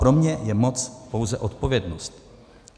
Pro mě je moc pouze odpovědnost.